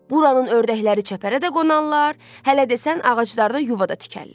Buranın ördəkləri çəpərə də qonarlar, hələ desən ağaclarda yuva da tikərlər.